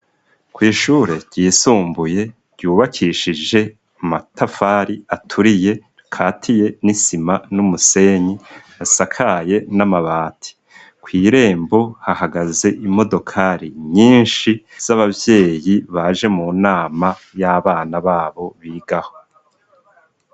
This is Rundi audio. Kw'ishure ryisumbuye yubakishijwe amatafari aturiye rikatiye n'isima n'umusenyi asakaye n'amabati. Kw'irembo hahagaze imodokari nyinshi z'abavyeyi baje mu nama y'abana babo bigaho.